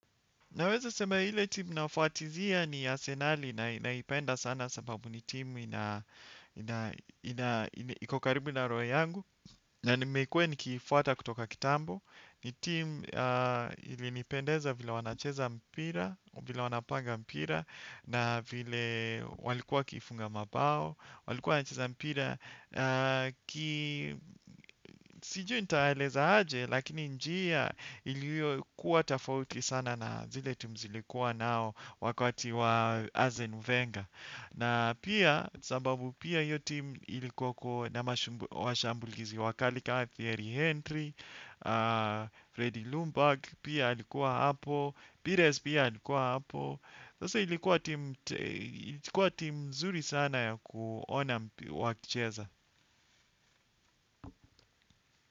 Naweza sema ile timu nafwatizia ni asenali na naipenda sana sababu ni timu iko karibu na roho yangu. Na nimekuwa nikiifuata kutoka kitambo, ni timu ilinipendeza vile wanacheza mpira, vile wanapanga mpira. Na vile walikuwa wakifunga mabao, walikuwa wanacheza mpira. Sijui nitaeleza aje. Lakini njia ilikuwa tofauti sana na zile timu zilikuwa nao. Wakati wa azenu venga. Na pia, sababu pia hiyo timu ilikuwa na mashambulizi wakali ka Thierry Henry Freddy Lumburg pia alikuwa hapo Pires pia ilikuwa hapo. Sasa ilikuwa timu mzuri sana ya kuona wakicheza Muzika.